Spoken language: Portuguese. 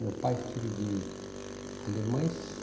Meu pai, filho de alemães.